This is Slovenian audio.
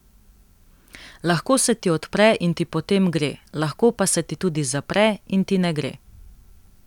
Lahko se ti odpre in ti potem gre, lahko pa se ti tudi zapre in ti ne gre.